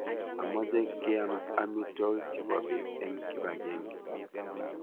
Amoche kiam amitwogik chebo bet en kibagenge